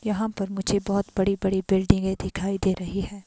यहां पर मुझे बहोत बड़ी बड़ी बिल्डिंगे दिखाई दे रही है।